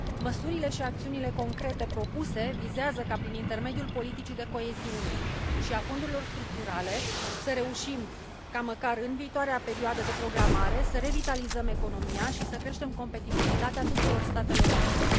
Măsurile și acțiunile concrete propuse vizează ca, prin intermediul politicii de coeziune și al fondurilor structurale, să reușim ca, măcar în viitoarea perioadă de programare, să revitalizăm economia și să creștem competitivitatea tuturor statelor membre.